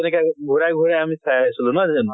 তেনেকে আকৌ ঘুৰাই ঘুৰাই আমি চাই আছিলো, নহয় জানো?